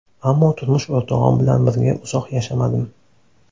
Ammo turmush o‘rtog‘im bilan birga uzoq yashamadim.